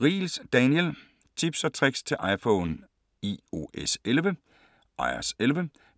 Riegels, Daniel: Tips & tricks til iPhone iOS11